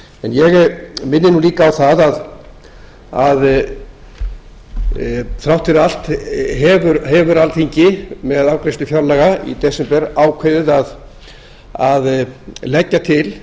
ég minni líka á það að þrátt fyrir allt hefur alþingi með afgreiðslu fjárlaga í desember ákveðið að leggja til